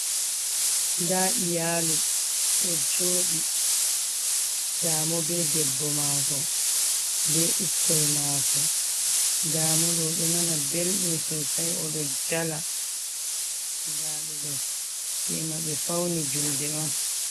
Nda iyaalu ɗo jooɗi ndamo be debbo mako be bikkoi maako ndamo ɗo oɗo nana belɗum sosai oɗo jala nda ɓe ɗo tema ɓe fauni julde on.